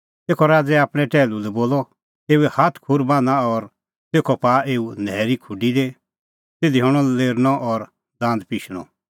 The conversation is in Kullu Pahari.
तेखअ राज़ै आपणैं टैहलू लै बोलअ एऊए हाथ खूर बान्हां और तेखअ पाआ एऊ न्हैरी खुडी दी तिधी हणअ लेरनअ और दांद पिशणअ